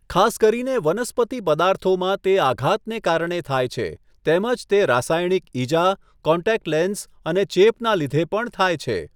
ખાસ કરીને વનસ્પતિ પદાર્થોમાં તે આઘાતને કારણે થાય છે, તેમજ તે રાસાયણિક ઈજા, કોન્ટેક્ટ લેન્સ અને ચેપના લીધે પણ થાય છે.